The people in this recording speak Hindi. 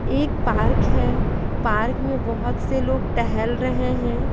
एक पार्क है पार्क में बहुत से लोग टहल रहे हैं।